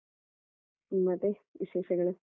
ಮತ್ತೆ ವಿಶೇಷಗಳು?